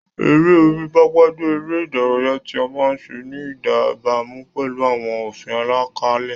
Eré orí pápá jẹ́ eré ìdárayá tí a máa ń ṣe ní ìbámu pẹ̀lú àwọn òfin àlàkalẹ̀.